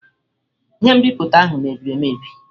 Ihe nbipute ahụ mebiri emebi.